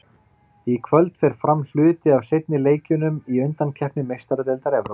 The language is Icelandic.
Í kvöld fer fram hluti af seinni leikjunum í undankeppni Meistaradeildar Evrópu.